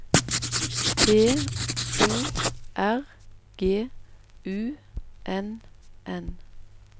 B O R G U N N